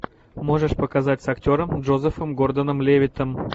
можешь показать с актером джозефом гордоном левиттом